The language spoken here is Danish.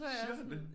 Siger han det